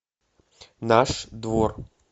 наш двор